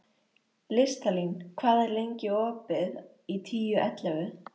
Listalín, hvað er lengi opið í Tíu ellefu?